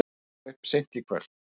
Styttir upp seint í kvöld